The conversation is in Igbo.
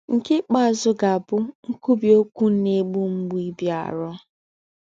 Nke ikpeazụ ga-abụ nkwubi okwu na-egbu mgbu ịbịaru.